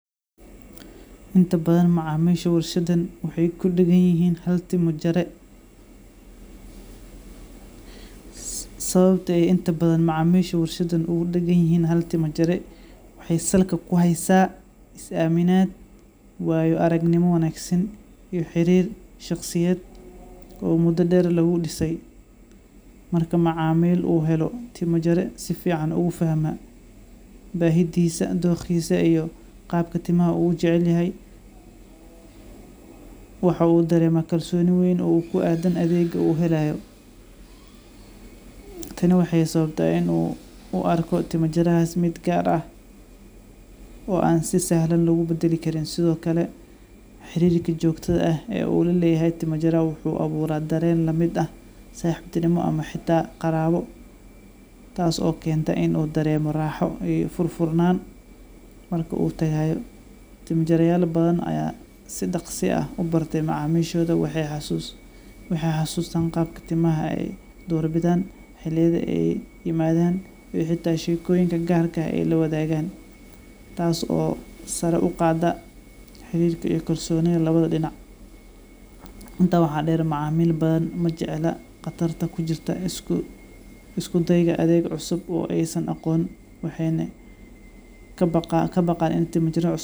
Inta badhan macamisha warshadan waxay kudaganyihin hal timo jare sawabtey inta badhan macamisha warshadan ugudaganyihin hal timo jare waxay salka kuhaysa aminaad wayo aragnimo wanagsan iyo xirir shaqsiyed oo muda deer lagudisay marka macamil u helo timo jare safican ufahma bahidisa doqisa iyo qabka timaha u ujecelyahay waxu u darema kalsoni weyn oo kuadan adeego u helayo tani waxay sawabta inu u arko timo jaraha taas mid gaar ah oo an si sahlan lagubadali Karin sidhokale xirirka jogtadha ah u laleyahay tima jara wuxu abura dareen lamid ah saxiptinima ama Hita qarabo taaso kenta inu dareman raaxo iyo furfurnan marku u tagayo timo jara yaal badhan aya si daqsa ah u bartay macamishodha waxay hasusan qabka timaha ay doorbidhan xiliyada ay imadhan oo ay hita shekoyinka gaarka ax lawadhagan taas oo sara uqada xirirka iya kalsonidha lawadha dinaca inta waxa deer macaamil badhan majecla qatarta kujurta iskudayga adeega cusub oo aysan aqon waxena kabaqan in tima jaro cusub.